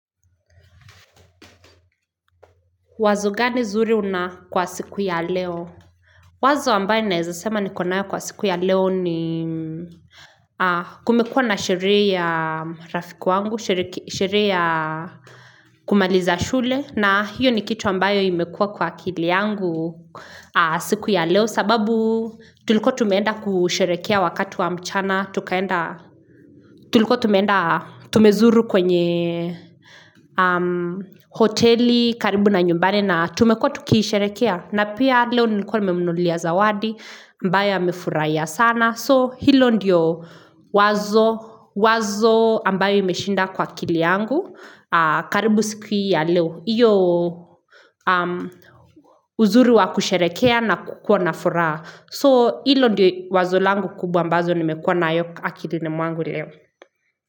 Wazo gani zuri una kwa siku ya leo wazo ambayo naezasema nikonayo kwa siku ya leo ni kumekua na sheree ya rafiki wangu sheree ya kumaliza shule na hiyo ni kitu ambayo imekua kwa akili yangu siku ya leo sababu tulukuwa tumeenda kusherekea wakati wa mchana tukaenda Tulikuwa tumeenda tumezuru kwenye hoteli karibu na nyumbani na tumekuwa tu kisherekea. Na pia leo nilikuwa nimemnunulia zawadi ambaye amefuraia sana. So hilo ndiyo wazo ambayo imeshinda kwa akili yangu karibu siku ya leo. Iyo uzuru wa kusherekea na kukua na furaha. So hilo ndiyo wazo langu kubwa ambazo nimekua nayo akilini mwangu leo.